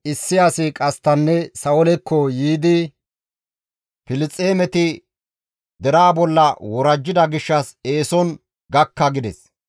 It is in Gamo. issi asi qasttanne Sa7oolekko yiidi, «Filisxeemeti deraa bolla worajjida gishshas eeson gakka» gides.